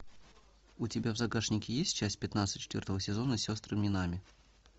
у тебя в загашнике есть часть пятнадцать четвертого сезона сестры минами